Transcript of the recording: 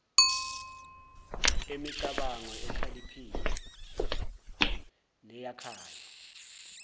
emicabango ekhaliphile neyakhayo